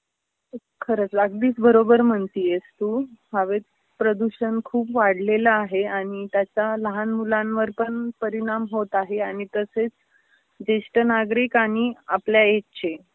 खरचं अगदीच बरोबर म्हणतीयेस तु. हवेत प्रदूषण खूप वाढलेल आहे आणि त्याचा लहान मुलांवर पण परिणाम होत आहे आणि तसेच जेष्ठ नागरिक आणि आपल्या एजचे